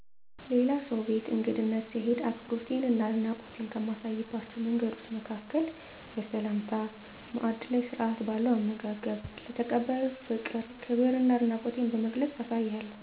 ሌላ ሰው ቤት እንግድነት ስሄድ አክብሮቴን እና አድናቆቴን ከማሳይባቸው መንገዶች መካከል በሰላምታ፣ ማዕድ ላይ ስርዓት ባለው አመጋገብ፣ ለተቀባዩ ፍቅር፣ ክብር እና አድናቆቴን በመግለፅ አሳያለሁ